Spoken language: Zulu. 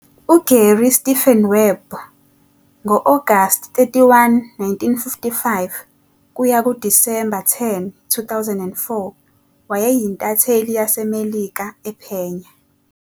UGary Stephen Webb ngo-Agasti 31, 1955 - Disemba 10, 2004, wayeyintatheli yaseMelika ephenya.